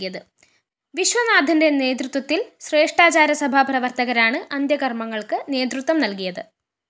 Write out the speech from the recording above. വിശ്വനാഥന്റെ നേതൃത്വത്തില്‍ ശ്രേഷ്ഠാചാരസഭാ പ്രവര്‍ത്തകരാണ് അന്ത്യകര്‍മ്മങ്ങള്‍ക്ക് നേതൃത്വം നല്‍കിയത്